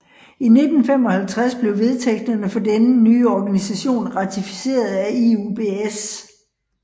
I 1955 blev vedtægterne for denne nye organisation ratificeret af IUBS